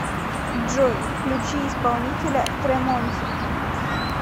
джой включи исполнителя тремонти